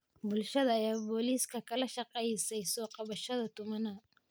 Bulshada ayaa booliska kala shaqeysay soo qabashada tuhmanaha.